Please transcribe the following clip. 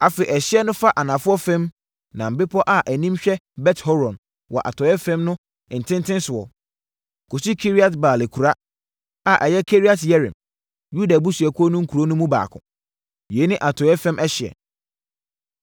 Afei ɛhyeɛ no fa anafoɔ fam, nam bepɔ a anim hwɛ Bet-Horon wɔ atɔeɛ fam no ntentenesoɔ, kɔsi Kiriat-Baal akuraa (a ɛyɛ Kiriat-Yearim), Yuda abusuakuo no nkuro no mu baako. Yei ne atɔeɛ fam ɛhyeɛ.